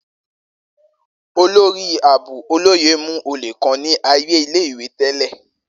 Olori Aabo Oloye mu ole kan ni aaye ile-iwe tẹlẹ.